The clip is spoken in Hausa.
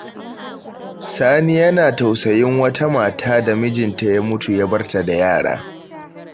Sani yana tausayin wata mata da mijinta ya mutu ya bar ta da yara.